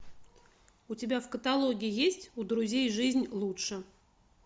у тебя в каталоге есть у друзей жизнь лучше